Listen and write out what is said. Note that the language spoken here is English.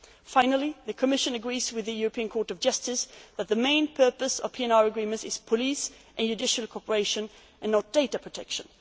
a procedure. Finally, the Commission agrees with the European Court of Justice that the main purpose of PNR agreements is police and judicial cooperation, and not data